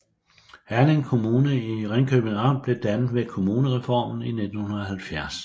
Herning Kommune i Ringkøbing Amt blev dannet ved kommunalreformen i 1970